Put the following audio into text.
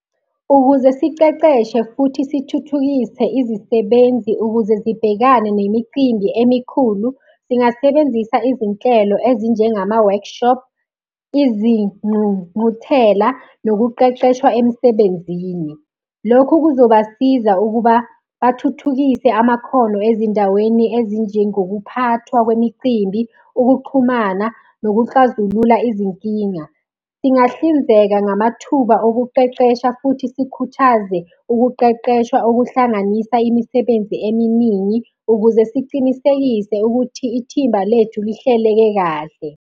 Ukuze siceceshe futhi sithuthukise izisebenzi ukuze zibhekane nemicimbi emikhulu singasebenzisa izinhlelo ezinjengama-workshop, izingqungquthela nokuqeqeshwa emsebenzini. Lokhu kuzobasiza ukuba bathuthukise amakhono ezindaweni ezinjengokuphathwa kwemicimbi, ukuxhumana, nokuxazulula izinkinga. Singahlinzeka ngamathuba okuqeqesha futhi sikhuthaze ukuqeqeshwa okuhlanganisa imisebenzi eminingi ukuze sicinisekise ukuthi ithimba lethu lihleleke kahle.